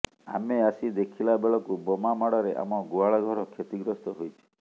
ଆମେ ଆସି ଦେଖିଲା ବେଳକୁ ବୋମାମାଡ଼ରେ ଆମ ଗୁହାଳ ଘର କ୍ଷତିଗ୍ରସ୍ତ ହୋଇଛି